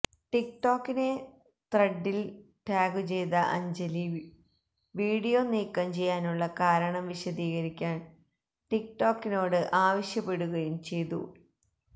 ടിക് ടോക്കിനെ ത്രെഡിൽ ടാഗുചെയ്ത അഞ്ജലി വീഡിയോ നീക്കം ചെയ്യാനുള്ള കാരണം വിശദീകരിക്കാൻ ടിക്ടോക്കിനോട് ആവശ്യപ്പെടുകയും ചെയ്തു